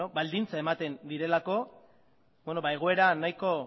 baldintza ematen direlako egoera nahiko